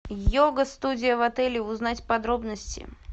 йога студия в отеле узнать подробности